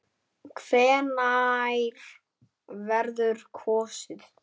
Hvenær verður kosið?